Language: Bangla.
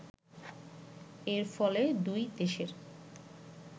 এর ফলে দুই দেশের